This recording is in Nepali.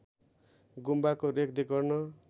गुम्बाको रेखदेख गर्न